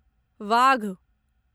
वाघ